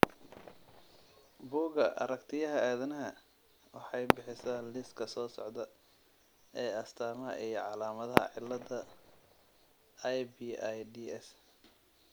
Bugga Aaragtiyaha Aadanaha waxay bixisaa liiska soo socda ee astamaha iyo calaamadaha cilada IBIDS .